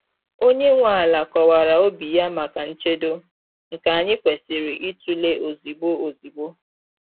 Onye nwe ala kọwara obi ya maka nchedo, nke anyị kwesịrị ịtụle ozugbo ozugbo.